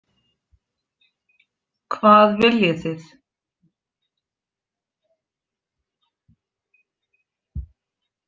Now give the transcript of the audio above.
Hvað viljið þið?